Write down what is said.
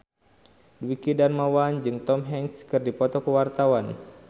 Dwiki Darmawan jeung Tom Hanks keur dipoto ku wartawan